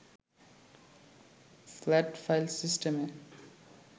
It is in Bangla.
ফ্যাট ফাইল সিস্টেমে